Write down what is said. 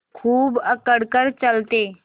खूब अकड़ कर चलते